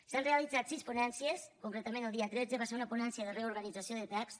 s’han realitzat sis ponències concretament el dia tretze va ser una ponència de reorganització de text